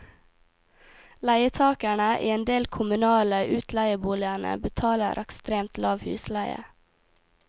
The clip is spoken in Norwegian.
Leietagerne i en del kommunale utleieboligene betaler ekstremt lav husleie.